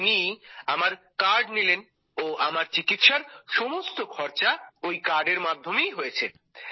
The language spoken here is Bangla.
তো তিনি আমার কার্ড নিলেন ও আমার চিকিৎসার সমস্ত খরচা ওই কার্ডের মাধ্যমেই হয়েছে